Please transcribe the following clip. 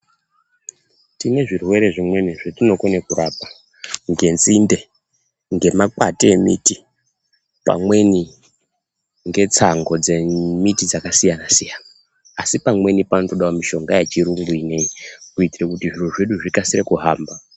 Tinezvirwere zvimweni zvetinokone kurapa ngenzinde, ngemakwati emiti pamweni ngetsangu dzemiti yakasiyana-siyana, asi pamweni panotode mishonga yechuyungu ino iyi kuitire kuti zvikasire kuhamba.